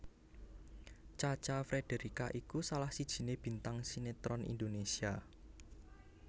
Cha Cha Frederica iku salah sijiné bintang sinetron Indonésia